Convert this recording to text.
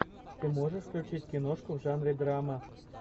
ты можешь включить киношку в жанре драма